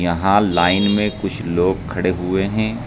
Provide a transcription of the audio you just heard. यहां लाइन में कुछ लोग खड़े हुए हैं।